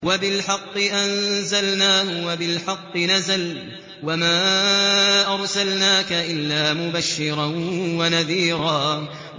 وَبِالْحَقِّ أَنزَلْنَاهُ وَبِالْحَقِّ نَزَلَ ۗ وَمَا أَرْسَلْنَاكَ إِلَّا مُبَشِّرًا وَنَذِيرًا